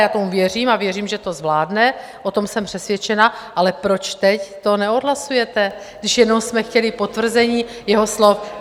Já tomu věřím a věřím, že to zvládne, o tom jsem přesvědčena, ale proč teď to neodhlasujete, když jenom jsme chtěli potvrzení jeho slov?